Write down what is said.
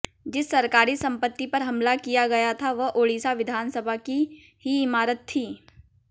जिस सरकारी संपत्ति पर हमला किया गया था वह ओडिशा विधानसभा की ही इमारत थी